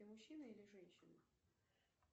ты мужчина или женщина